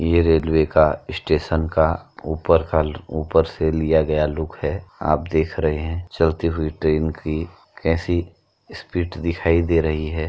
ये रेलवे का इस्टेशन का ऊपर का ल्-ऊपर से लिया गया लुक है। आप देख रहे हैं चलती हुई ट्रेन की कैसी स्पीड दिखाई दे रही है।